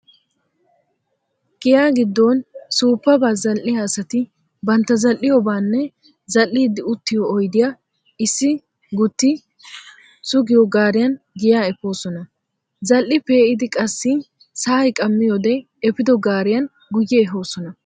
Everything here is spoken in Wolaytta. Giya giddon suuppaba zal"iyaa asati bantta zal"iyoobaanne zal"iiddi uttiyoo oydiya issi gutti sugiyoo gaariyan giyaa efoosona. Zal"i pee"idi qassi sa"ay qaamiyoodee efido gaariyan guyye ehoosona.